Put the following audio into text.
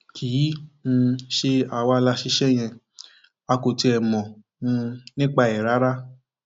kì í um ṣe àwa la ṣiṣẹ yẹn a kò tiẹ mọ um nípa ẹ rárá